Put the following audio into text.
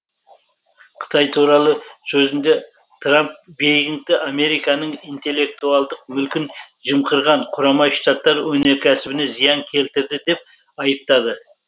қытай туралы сөзінде трамп бейжіңгті американың интеллектуалдық мүлкін жымқырған құрамай штаттар өнеркәсібіне зиян келтірді деп айыптады